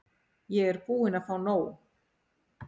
Ég er búin að fá nóg.